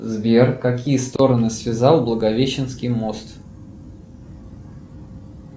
сбер какие стороны связал благовещенский мост